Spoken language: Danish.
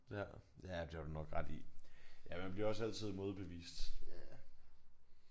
Ja ja det har du nok ret i. Ja man bliver også altid modbevist